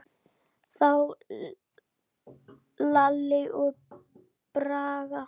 Þá Lalli og Bragi.